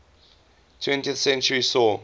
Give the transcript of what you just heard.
twentieth century saw